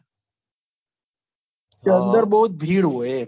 કે અંદર બહુ જ ભીડ હોય એ